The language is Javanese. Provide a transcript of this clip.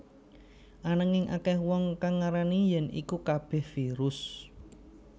Ananging akèh wong kang ngarani yèn iku kabèh virus